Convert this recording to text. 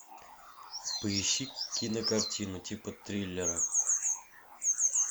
поищи кинокартину типа триллера